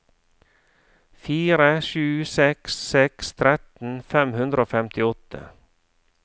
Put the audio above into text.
fire sju seks seks tretten fem hundre og femtiåtte